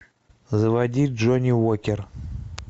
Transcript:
заводи джонни уокер